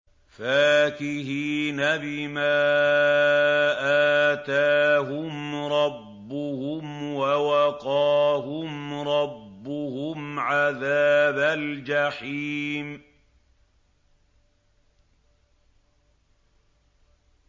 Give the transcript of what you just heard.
فَاكِهِينَ بِمَا آتَاهُمْ رَبُّهُمْ وَوَقَاهُمْ رَبُّهُمْ عَذَابَ الْجَحِيمِ